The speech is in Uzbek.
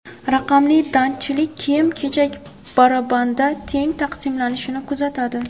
Raqamli datchiklar kiyim-kechak barabanda teng taqsimlanishini kuzatadi.